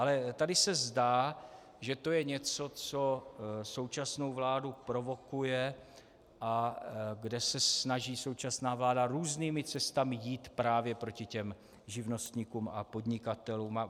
Ale tady se zdá, že to je něco, co současnou vládu provokuje a kde se snaží současná vláda různými cestami jít právě proti těm živnostníkům a podnikatelům.